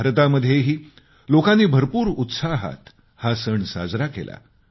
भारतामध्येही लोकांनी भरपूर उत्साहात हा सण साजरा केला